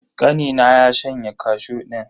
Kanina ya shanye kashu din.